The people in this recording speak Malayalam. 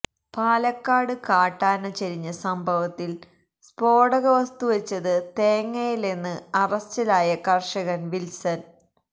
പാലക്കാട് കാട്ടാന ചരിഞ്ഞ സംഭവത്തിൽ സ്ഫോടക വസ്തു വെച്ചത് തേങ്ങയിലെന്ന് അറസ്റ്റിലായ കർഷകൻ വിൽസൺ